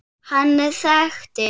Hann þekkti